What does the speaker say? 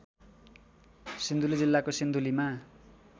सिन्धुली जिल्लाको सिन्धुलीमा